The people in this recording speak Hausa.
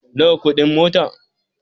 Nawa kudin mota?